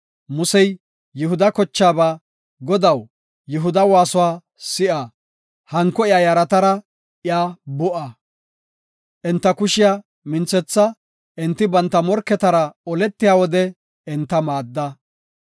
Musey Yihuda kochaaba, “Godaw, Yihuda waasuwa si7a; hanko iya yaratara iya bu7a. Enta kushiya minthetha; enti banta morketara oletiya wode enta maadda.